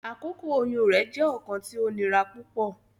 Akoko oyun rẹ jẹ ọkan ti o nira pupọ.